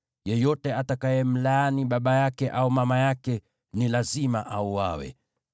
“Yeyote atakayemlaani baba yake au mama yake ni lazima auawe.